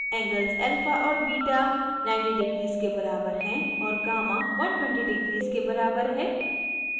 angles alpha और beta 90 degrees के बराबर हैं और gamma 120 degrees के बराबर है